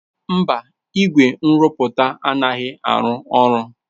Mba, igwe nrụpụta anaghị arụ ọrụ.